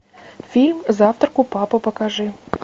фильм завтрак у папы покажи